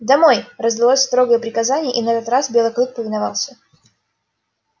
домой раздалось строгое приказание и на этот раз белый клык повиновался